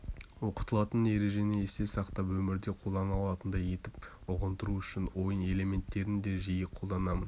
оқытылатын ережені есте сақтап өмірде қолдана алатындай етіп ұғындыру үшін ойын элементтерін де жиі қолданамын